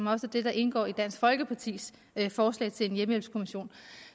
er også det der indgår i dansk folkepartis forslag til en hjemmehjælpskommission